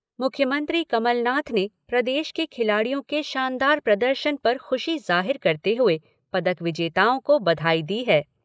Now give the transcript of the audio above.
मुख्यमंत्री कमलनाथ ने प्रदेश के खिलाड़ियों के शानदार प्रदर्शन पर खुशी जाहिर करते हुए पदक विजेताओं को बधाई दी है।